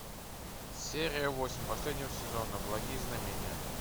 серия восемь последнего сезона благие знамения